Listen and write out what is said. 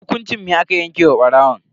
Hukunci me aka yanke wa barawon?